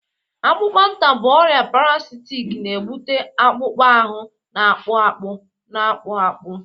Akpụkpanta bụ ọrịa parasitic na-ebute akpụkpọ ahụ na-akpụ akpụ, na-akpụ akpụ